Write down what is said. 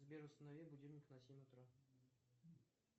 сбер установи будильник на семь утра